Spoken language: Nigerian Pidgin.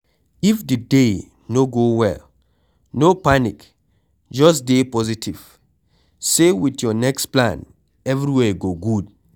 If di day no go well, no panic just dey positive sey with your next plan everywhere go good